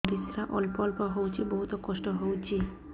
ପରିଶ୍ରା ଅଳ୍ପ ଅଳ୍ପ ହଉଚି ବହୁତ କଷ୍ଟ ହଉଚି